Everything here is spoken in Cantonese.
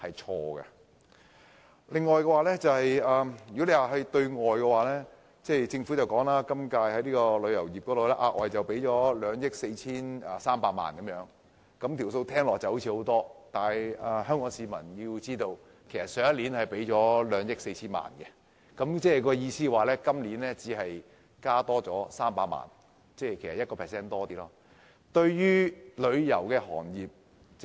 此外，在對外方面，政府今年就旅遊業額外撥款2億 4,300 萬元，這數目聽起來似乎很大，但香港市民必須知道，去年的撥款是2億 4,000 萬元，即是說今年的撥款只增加300萬元而已，僅稍多於 1%。